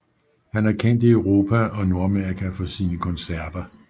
Han er kendt i Europa og Nordamerika for sine koncerter